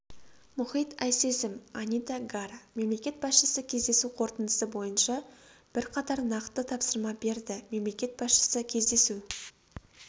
мұхит айсезім анита гара мемлекет басшысы кездесу қорытындысы бойынша бірқатар нақты тапсырма берді мемлекет басшысы кездесу